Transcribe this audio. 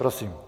Prosím.